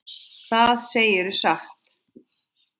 Það segirðu satt.